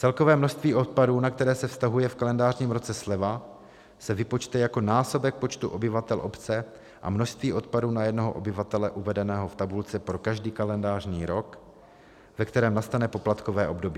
Celkové množství odpadů, na které se vztahuje v kalendářním roce sleva, se vypočte jako násobek počtu obyvatel obce a množství odpadu na jednoho obyvatele uvedeného v tabulce pro každý kalendářní rok, ve kterém nastane poplatkové období.